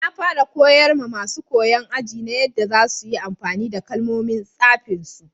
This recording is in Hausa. Na fara koyar ma masun koyo a'aji na yadda za su yi amfani da kalmomin safin su.